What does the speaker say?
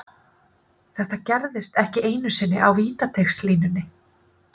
Þetta gerðist ekki einu sinni á vítateigslínunni.